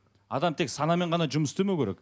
адам тек санамен ғана жұмыс істемеу керек